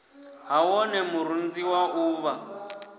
ha wone murunzi wa uvha